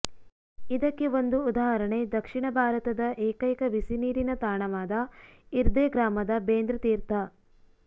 ಇದಕ್ಕೆ ಒಂದು ಉದಾಹರಣೆ ದಕ್ಷಿಣ ಭಾರತದ ಏಕೈಕ ಬಿಸಿನೀರಿನ ತಾಣವಾದ ಇರ್ದೆ ಗ್ರಾಮದ ಬೆಂದ್ರ್ ತೀರ್ಥ